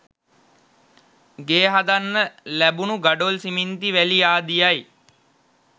ගේ හදන්න ලැබුණු ගඩොල් සිමෙන්ති වැලි ආදියයි.